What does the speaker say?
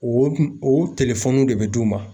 O kun o de bɛ d'u ma